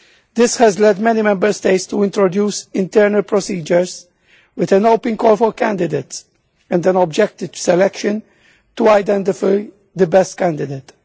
This has led many Member States to introduce internal procedures with an open call for candidates and an objective selection to identify the best candidate.